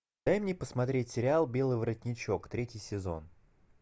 дай мне посмотреть сериал белый воротничок третий сезон